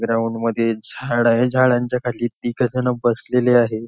Ground मध्ये झाड आहेझाडांच्या खाली तिघजण बसलेले आहे.